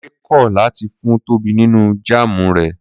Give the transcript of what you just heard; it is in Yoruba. Kúnlé kò̩ láti fún Tóbi nínú jáàmù rè̩